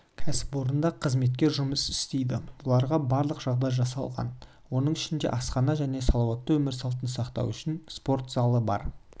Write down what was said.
кәсіпорында қызметкер жұмыс істейді оларға барлық жағдай жасалған оның ішінде асхана және салауатты өмір салтын сақтау үшін спорт залы бар